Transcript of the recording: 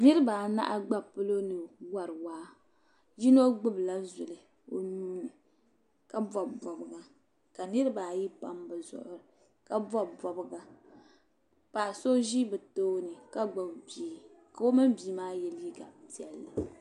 Niriba anahi gba palo ni wari waa. Yino gbibila zuli o nuu ni ka bɔbi bɔbiga ka niriba ayi pam bɛ zuɣiri ka bɔbi bɔbiga. Paɣa so ʒi bɛ tooni ka gbibi bia ka o mini bia maa ye liiga piɛlli.